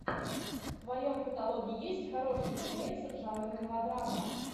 в твоем каталоге есть хороший фильмец жанр мелодрама